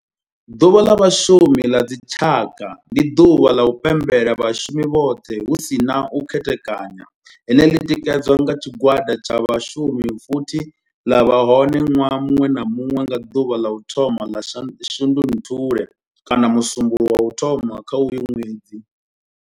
Ḓuvha ḽa vhashumi ḽa dzi tshaka, ndi duvha ḽa u pembela vhashumi vhothe hu si na u khethekanya ḽine ḽi tikedzwa nga tshigwada tsha vhashumi futhi ḽi vha hone nwaha munwe na munwe nga duvha ḽa u thoma 1 ḽa Shundunthule kana musumbulowo wa u thoma kha uyo ṅwedzi.